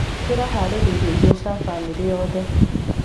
Tũraharĩirie irio cia bamĩrĩ yothe.